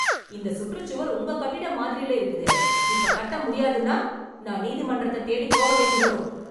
இந்த சுற்றுச்சுவர் உங்க கட்டிட மாதிரில இருக்குதே, இப்ப கட்ட முடியாதுன்னா நான் நீதிமன்றத்தத் தேடி போக வேண்டி வரும்.